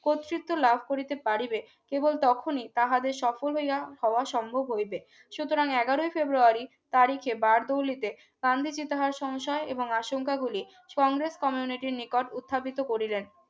কর্তৃত্ব লাভ করিতে পারিবে কেবল তখনই তাহাদের সফল হইয়া হওয়া সম্ভব হইবে সুতরাং এগারোই ফেব্রুয়ারী তারিখে বারদৌলিতে গান্ধীজি তাহার সংশয় এবং আশঙ্কাগুলি কংগ্রেস কমিউনিটির নিকট উত্থাপিত করিলেন